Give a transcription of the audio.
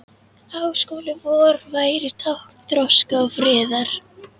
Háskóli vor væri tákn þroska og friðar.